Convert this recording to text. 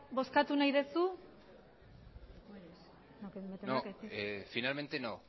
bozkatu nahi duzu no finalmente no